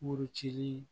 Muru cili